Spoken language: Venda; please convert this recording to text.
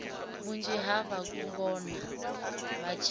vhunzhi ha vhangona vha tshe